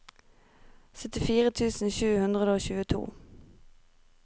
syttifire tusen sju hundre og tjueto